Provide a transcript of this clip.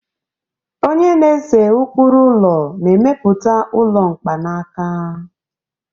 onye na-ese ụkpụrụ ụlọ na-emepụta ụlọ mkpanaka